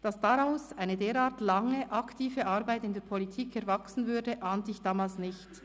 Dass daraus eine derart lange aktive Arbeit in der Politik erwachsen würde, ahnte ich damals nicht.